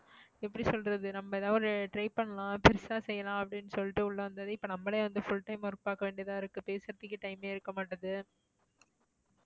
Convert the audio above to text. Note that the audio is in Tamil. எப்படி சொல்றது, நம்ம ஏதாவது ஒரு try பண்ணலாம், புதுசா செய்யலாம் அப்படின்னு சொல்லிட்டு உள்ள வந்ததே இப்போ நம்மளே வந்து full time work பாக்க வேண்டியதா இருக்கு பேசறத்துக்கே time மே இருக்கமாட்டேங்குது.